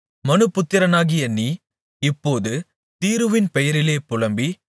மனுபுத்திரனாகிய நீ இப்போது தீருவின் பெயரிலே புலம்பி